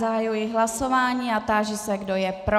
Zahajuji hlasování a táži se, kdo je pro.